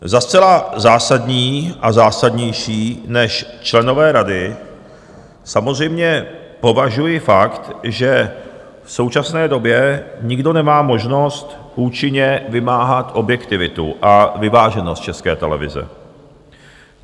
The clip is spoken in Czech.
Za zcela zásadní, a zásadnější než členové rady, samozřejmě považuji fakt, že v současné době nikdo nemá možnost účinně vymáhat objektivitu a vyváženost České televize.